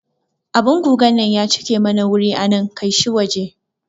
Abun gugan nan ya cike mana wuri anan, kaishi waje